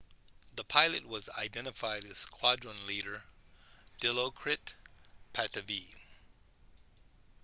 the pilot was identified as squadron leader dilokrit pattavee